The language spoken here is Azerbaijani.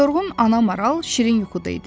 Yorğun ana maral şirin yuxuda idi.